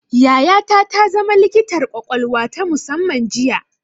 Yayata ta zama likitar ƙwaƙwalwa ta musamman jiya